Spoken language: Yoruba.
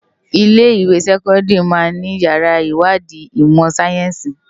Ilé iwé sèkòndári má ni iyàrá iwádi imò sáyènsí